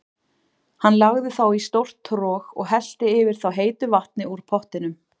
Hann lagði þá í stórt trog og hellti yfir þá heitu vatni úr pottinum.